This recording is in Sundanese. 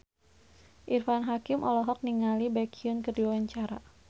Irfan Hakim olohok ningali Baekhyun keur diwawancara